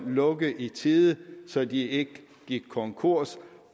lukke i tide så de ikke gik konkurs